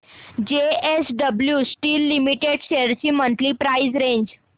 JSW steel limited shares ची monthly price range